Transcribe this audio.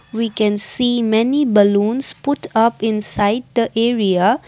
we can see many balloons put up inside the area.